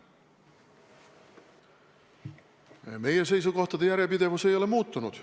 Meie seisukohtade järjepidevus ei ole kannatanud.